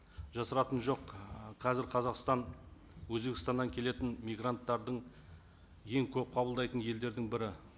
жасыратыны жоқ ы қазір қазақстан өзбекстаннан келетін мигранттарды ең көп қабылдайтын елдердің бірі